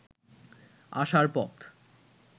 আসার পথ